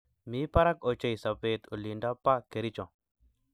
Mi barak ochei sobet olindo ba Kericho